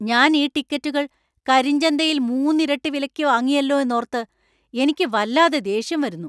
ഞാൻ ഈ ടിക്കറ്റുകൾ കരിഞ്ചന്തയിൽ മൂന്നിരട്ടി വിലയ്ക്ക് വാങ്ങിയല്ലോ എന്നോർത്ത് എനിക്ക് വല്ലാതെ ദേഷ്യം വരുന്നു .